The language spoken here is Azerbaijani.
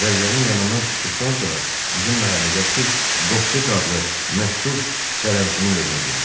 Zərgərin yanından çıxdıqdan sonra bizim məhəllədəki Qopsek adlı məşhur sərrəmcının evinə girdi.